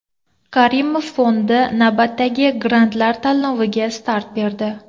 Karimov Fondi navbatdagi grantlar tanloviga start berdi.